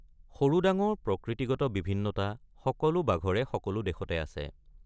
সৰু ডাঙৰ প্ৰকৃতিগত বিভিন্নতা সকলো বাঘৰে সকলো দেশতে আছে।